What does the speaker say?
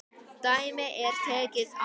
Dæmi er tekið af